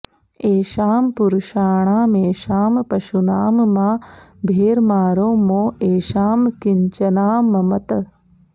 एषां पुरुषाणामेषां पशूनां मा भेर्मारो मो एषां किंचनाममत्